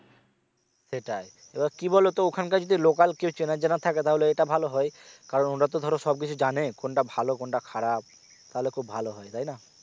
সেটাই তো এবার কি বলো তো ওখানকার যদি লোকাল কেউ চেনাজানা থাকে তাহলে এটা ভালো হয় কারন ওটা তো ধরো সব কিছু জানে কোন টা ভালো কোন টা খারাপ তাহলে খুব ভালো হয় তাইনা